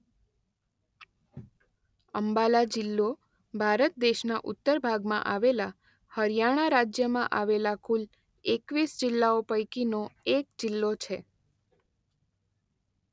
અંબાલા જિલ્લો ભારત દેશના ઉત્તર ભાગમાં આવેલા હરિયાણા રાજ્યમાં આવેલા કુલ એકવીસ જિલ્લાઓ પૈકીનો એક જિલ્લો છે.